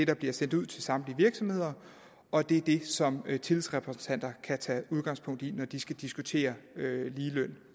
der bliver sendt ud til samtlige virksomheder og det er det som tillidsrepræsentanter kan tage udgangspunkt i når de skal diskutere ligeløn